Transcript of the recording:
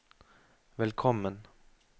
velkommen